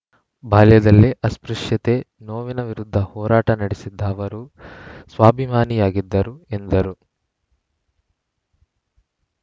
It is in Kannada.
ಬಾಲ್ಯದಲ್ಲೇ ಅಸ್ಪೃಶ್ಯತೆ ನೋವಿನ ವಿರುದ್ಧ ಹೋರಾಟ ನಡೆಸಿದ್ದ ಅವರು ಸ್ವಾಭಿಮಾನಿಯಾಗಿದ್ದರು ಎಂದರು